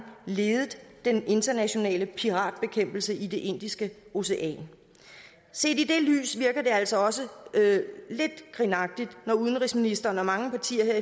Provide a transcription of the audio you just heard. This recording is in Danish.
ledet den internationale piratbekæmpelse i det indiske ocean set i det lys virker det altså også lidt grinagtigt når udenrigsministeren og mange partier